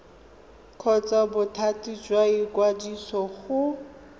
kgotsa bothati jwa ikwadiso go